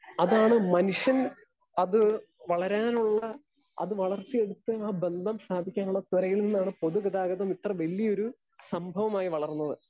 Speaker 2 അതാണ് മനുഷ്യൻ അത് വളരാനുള്ള അത് വളർത്തിയെടുത്ത ആ ബന്ധം സ്ഥാപിക്കാനുള്ള ത്വരയിൽ നിന്നാണ് പൊതുഗതാഗതം ഇത്ര വല്ല്യ ഒരു സംഭവമായി വളർന്നത്.